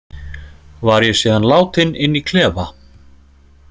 Var ég síðan látinn inn í klefa.